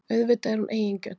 Auðvitað er hún eigingjörn.